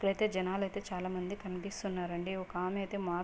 ఇక్కడ అయితే జనాలు అయితే చాలామంది కనిపిస్తున్నారండి. ఒక ఆమె ఐతే మాస్క్--